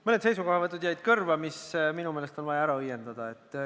Mõned seisukohavõtud jäid kõrva, mis minu meelest on vaja ära õiendada.